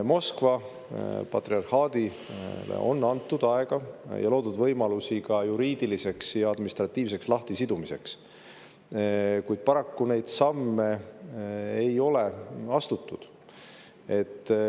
aega ja loonud võimalusi Moskva juriidiliseks ja administratiivseks lahtisidumiseks, kuid paraku neid samme ei ole astutud.